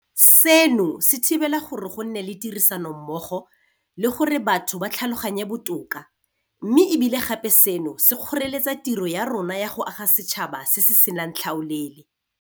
Seno se thibela gore go nne le tirisanommogo le gore batho ba tlhaloganyane botoka, mme e bile gape seno se kgoreletsa tiro ya rona ya go aga setšhaba se se senang tlhaolele.